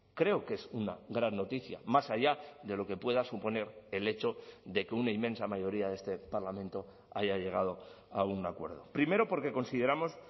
creo que es una gran noticia más allá de lo que pueda suponer el hecho de que una inmensa mayoría de este parlamento haya llegado a un acuerdo primero porque consideramos